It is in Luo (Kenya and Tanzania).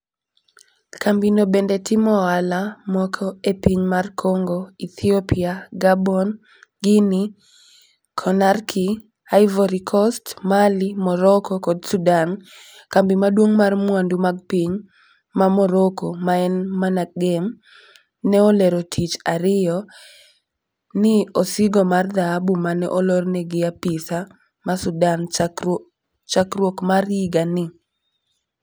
Kambi no bende timo ohala moke e pinyno mar kongo, Ethiopia, Gabon, Guinea konakry, Ivory kost, Mali, Moroko kod Sudan ,kambi maduong' mar mwandu mag piny ma Moroko ma en MANAGEM ne olero tich ariyo n osigo mar dhahabu mane olorne gi apisa ma Sudan chakruok mar yiga ni.